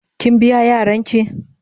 Kin biya Yaran ki?.